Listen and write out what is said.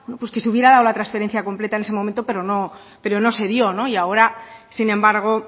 pues que se hubiera dado la transferencia completa en ese momento pero no se dio y ahora sin embargo